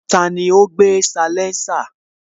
Tani ó gbé salénsà?